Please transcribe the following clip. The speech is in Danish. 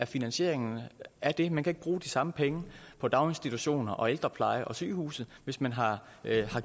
finansieringen af det man kan ikke bruge de samme penge på daginstitutioner og ældrepleje og sygehuse hvis man har